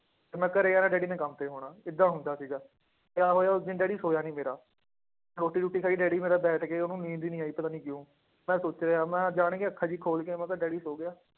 ਤੇ ਮੈਂ ਘਰੇ ਆਉਣਾ ਡੈਡੀ ਨੇ ਕੰਮ ਤੇ ਹੋਣਾ ਏਦਾਂ ਹੁੰਦਾ ਸੀਗਾ, ਕਿਆ ਹੋਇਆ ਉਸ ਦਿਨ ਡੈਡੀ ਸੋਇਆ ਨੀ ਮੇਰਾ, ਰੋਟੀ ਰੂਟੀ ਖਾਈ ਡੈਡੀ ਮੇਰਾ ਬੈਠ ਕੇ ਉਹਨੂੰ ਨੀਂਦ ਹੀ ਨੀ ਆਈ ਪਤਾ ਨੀ ਕਿਉਂ, ਮੈਂ ਸੋਚ ਰਿਹਾਂ ਮੈਂ ਜਾਣ ਕੇ ਅੱਖਾਂ ਜਿਹੀਆਂ ਖੋਲ ਕੇ ਮੈਂ ਕਿਹਾ ਡੈਡੀ ਸੌਂ ਗਿਆ,